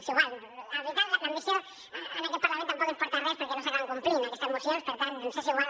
bé és igual l’ambició en aquest parlament tampoc ens porta a res perquè no s’acaben complint aquestes mocions per tant ens és igual